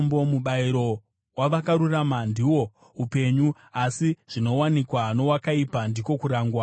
Mubayiro wavakarurama ndihwo upenyu, asi zvinowanikwa nowakaipa ndiko kurangwa.